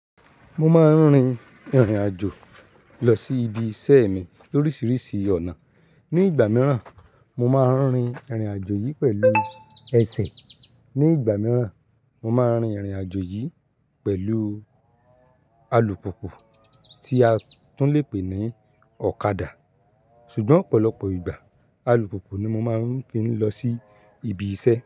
Mo máa ń rin ìrìnàjò lọ sí ibi iṣẹ́ mi lóríṣiríṣii ọ̀nà. Ni ìgbà mìíràn, mo máa ń rin ìrìnàjò yìí pẹ̀lú ẹsẹ̀, ní ìgbà mìíràn mo máa ń rin ìrìn àjò yìí pẹ̀lú alùpùpù tí a tún lè pè ní ọ̀kadà, ṣùgbọ́n ọ̀pọ̀lọpọ̀ ìgbà alùpùpù ni mo máa ń fi ń lọ sí ibi iṣẹ́.